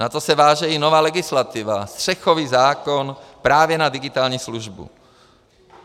Na to se váže i nová legislativa, střechový zákon právě na digitální službu.